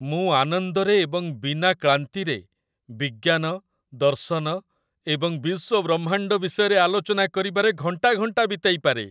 ମୁଁ ଆନନ୍ଦରେ ଏବଂ ବିନା କ୍ଳାନ୍ତିରେ ବିଜ୍ଞାନ, ଦର୍ଶନ ଏବଂ ବିଶ୍ୱବ୍ରହ୍ମାଣ୍ଡ ବିଷୟରେ ଆଲୋଚନା କରିବାରେ ଘଣ୍ଟା ଘଣ୍ଟା ବିତାଇପାରେ